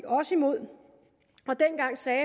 også imod og dengang sagde